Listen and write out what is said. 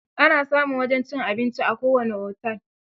Ana samun wajen cin abinci a kowane otel.